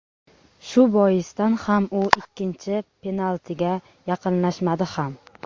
Shu boisdan ham u ikkinchi penaltiga yaqinlashmadi ham.